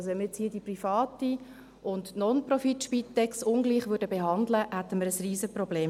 Wenn wir also jetzt die private und die Nonprofit-Spitex ungleich behandeln würden, hätten wir damit ein Riesenproblem.